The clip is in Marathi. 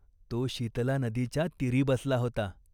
तो शीतला नदीच्या तीरी बसला होता.